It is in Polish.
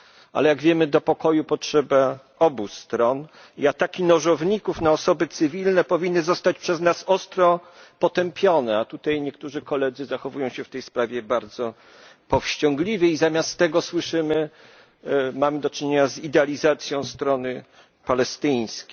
Ale jak wiemy do pokoju potrzeba obu stron i ataki nożowników na osoby cywilne powinny zostać przez nas ostro potępione, a tutaj niektórzy koledzy zachowują się w tej sprawie bardzo powściągliwie i zamiast tego słyszymy, czy mamy do czynienia z idealizacją strony palestyńskiej.